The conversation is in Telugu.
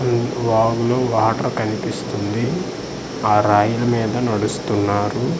ఉం వాగు లో వాటర్ కన్పిస్తుంది ఆ రాయిల మీద నడుస్తున్నారు.